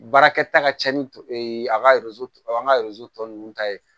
Baarakɛta ka ca ni a ka an ka tɔ ninnu ta ye